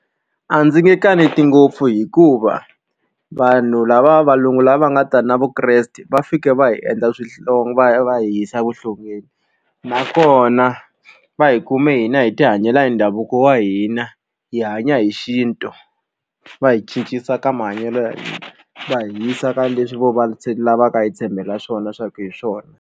A ndzi nge kaneti ngopfu hikuva vanhu lava valungu lava nga ta na vukreste va fike va hi endla va va hi yisa evuhlongeni nakona va hi kume hina hi tihanyela hi ndhavuko wa hina hi hanya hi xintu va hi cincisa ka mahanyelo ya hina va hi yisa ka leswi vo lavaka hi tshembela ka swona swa ku hi swona.